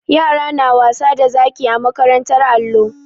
Yara na wasa da zaki a makarantar allo.